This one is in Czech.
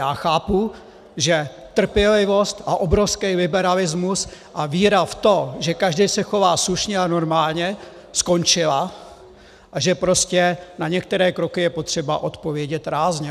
Já chápu, že trpělivost a obrovský liberalismus a víra v to, že každý se chová slušně a normálně, skončila a že prostě na některé kroky je třeba odpovědět rázně.